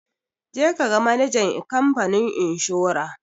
Je ka ga manajan ikamfanin inshora!